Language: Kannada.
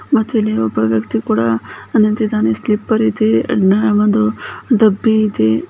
ಮತ್ತೆ ಇಲ್ಲಿ ಒಬ್ಬ ವ್ಯಕ್ತಿ ಕೂಡ ನಿಂತಿದ್ದಾರೆ ಸ್ಲಿಪ್ಪರ್ ಕೂಡ ಇದೆ ಮತ್ತೆ ಒಳ್ಳೆ ಒಂದು ಡಬ್ಬಿ ಐತೆ.